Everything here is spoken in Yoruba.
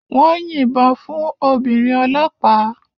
Wọ́n yìnbọn fún obìnrin ọlọ́pàá